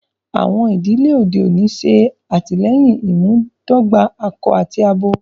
Àwọn idílẹ̀ ọdẹ̀ ọ̀ní ṣé àtílẹyìn ìmúdògbà àkọ àti àbọ